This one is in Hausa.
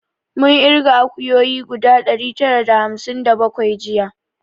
Mun irga akuyoyi guda ɗari tara da hamsin da bakwai jiya